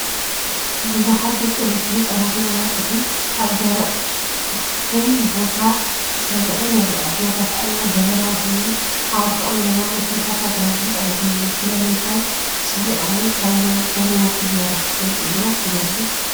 ብዙሓት ደቂ ኣንስትዮ ህጻናትን ኣባፅሕን ኣብ ደረቕን ክፉትን ቦታ ተሰሪዐን ይረኣያ። ኩነታት ኣየር ደበናዊ ኮይኑ፡ ኣብ ርሑቕ ንየማን ውሑዳት ኣግራብን ህንጻታትን ኣለዉ። ስለምንታይ ተሰሪዖም ወይ ካበይ ከም ዝመጹ ዝያዳ ክትፈልጥ ዶ ትደሊ?